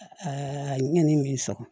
n ɲe nin so